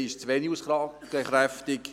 Dies werden Sie sicher verstehen.